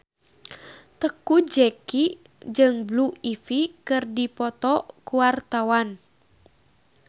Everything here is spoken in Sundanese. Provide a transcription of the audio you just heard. Teuku Zacky jeung Blue Ivy keur dipoto ku wartawan